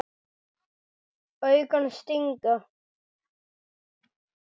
Augun stinga.